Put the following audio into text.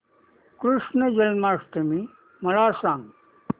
कृष्ण जन्माष्टमी मला सांग